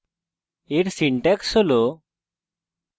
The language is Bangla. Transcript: এর syntax হল: